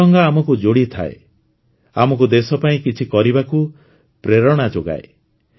ତ୍ରିରଙ୍ଗା ଆମକୁ ଯୋଡ଼ିଥାଏ ଆମକୁ ଦେଶ ପାଇଁ କିଛି କରିବାକୁ ପ୍ରେରଣା ଯୋଗାଏ